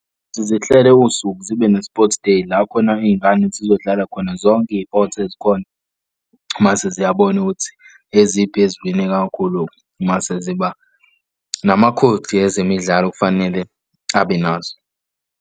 Zihlele usuku zibe ne-sports day la khona iy'ngane zizodlala khona zonke ipothi ezikhona. Mase ziyabona ukuthi eziphi eziwine kakhulu mase ziba namakhodi ezemidlalo kufanele abe nazo.